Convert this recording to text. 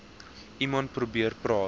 iemand probeer praat